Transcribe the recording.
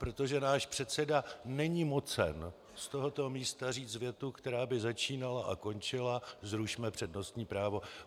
Protože náš předseda není mocen z tohoto místa říct větu, která by začínala a končila - zrušme přednostní právo.